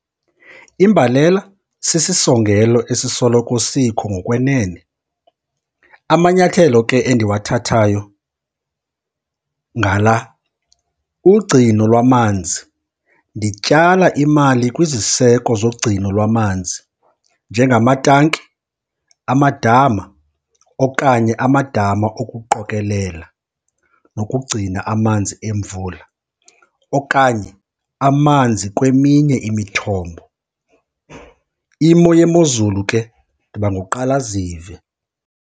Imbalela sisisongelo esisoloko sikho ngokwenene. Amanyathelo ke endiwathathayo ngala, ugcino lwamanzi. Ndityala imali kwiziseko zogcino lwamanzi njengamatanki, amadama, okanye amadama okuqokelela nokugcina amanzi emvula okanye amanzi kweminye imithombo. Imo yemozulu ke, ndiba nguqalazive.